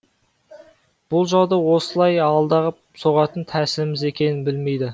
бұл жауды осылай алдап соғатын тәсіліміз екенін білмейді